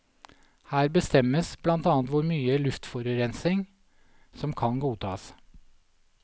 Her bestemmes blant annet hvor mye luftforurensning som kan godtas.